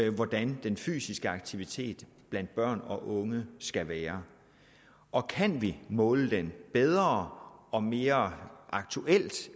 om hvordan den fysiske aktivitet blandt børn og unge skal være og kan vi måle det bedre og mere aktuelt